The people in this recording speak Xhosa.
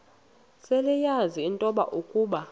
seleyazi into yokuba